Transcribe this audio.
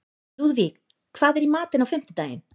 Lúðvíg, hvað er í matinn á fimmtudaginn?